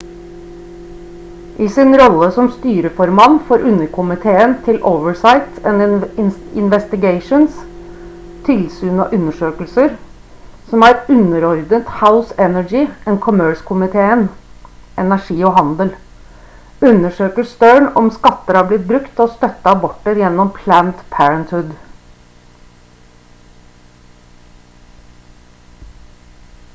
i sin rolle som styreformann for underkomiteen til oversight and investigations tilsyn og undersøkelser som er underordnet house energy and commerse-komiteen energi og handel undersøker stearn om skatter har blitt brukt til å støtte aborter gjennom planned parenthood